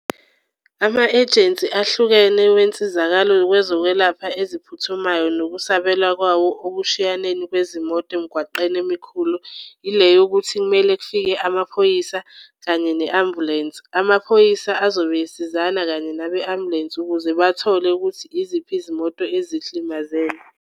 Ama-ejensi ahlukene wensizakalo wezokwelapha eziphuthumayo nokusabela kwawo okushiyaneni kwezimoto emgwaqeni emikhulu ile yokuthi kumele kufike amaphoyisa kanye ne-ambulensi. Amaphoyisa azobe esizana kanye nabe-ambulensi ukuze bathole ukuthi iziphi izimoto ezihlimazene.